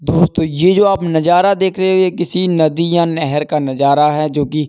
दोस्तो ये जो आप नजारा देख रहे है ये किसी नदी या नहर का नजारा है जो की --